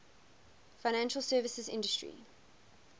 financial services industry